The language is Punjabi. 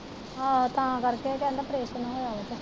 ਆਹੋ ਤਾਂ ਕਰ ਕੇ ਉਹ ਕਹਿੰਦਾ ਪ੍ਰੇਸ਼ਨ ਹੋਇਆ ਓਦਾ।